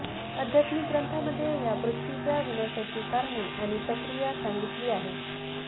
आध्यात्मिक ग्रंथांमध्ये या पृथ्वीच्या विनाशाची कारणे आणि प्रक्रिया सांगितली आहे